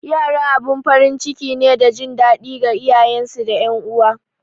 Yara abin farin ciki ne da jin daɗi ga iyayensu da ’yan uwa.